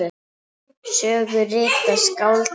Sögu rita skáldin best.